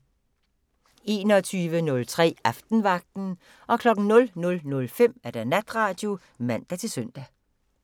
21:03: Aftenvagten 00:05: Natradio (man-søn)